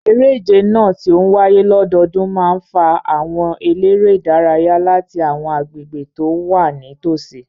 Eré ìje náà, tí ó ń wáyé lọ́dọọdún, máa ń fa àwọn eléré-ìdárayá láti àwọn agbègbè tó wà nítòsí.